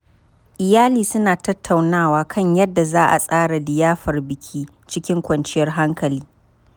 Iyali suna tattaunawa kan yadda za a tsara liyafar biki cikin kwanciyar hankali.